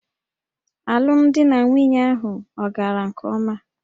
Alụmdi na nwunye ahụ ọ̀ gara nke ọma?